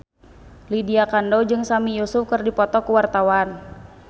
Lydia Kandou jeung Sami Yusuf keur dipoto ku wartawan